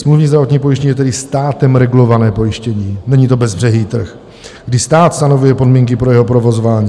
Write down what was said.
Smluvní zdravotní pojištění je tedy státem regulované pojištění, není to bezbřehý trh, kdy stát stanovuje podmínky pro jeho provozování.